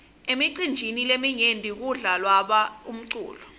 emicinjini leminyenti kudla lwa umculo